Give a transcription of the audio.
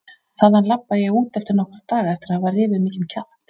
Þaðan labbaði ég út eftir nokkra daga eftir að hafa rifið mikinn kjaft.